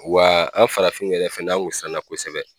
Wa an farafin yɛrɛ fɛnɛ an kun siranna kosɛbɛ.